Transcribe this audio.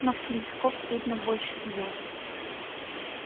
но в телескоп видно больше звёзд